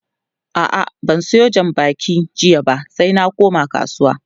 a'a ban Sayo jan bakin jiya ba sai ba koma kasuwa